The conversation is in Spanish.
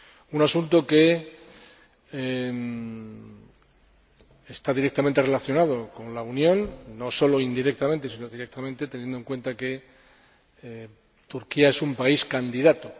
Un asunto que está directamente relacionado con la Unión, no sólo indirectamente, sino también directamente, teniendo en cuenta que Turquía es un país candidato.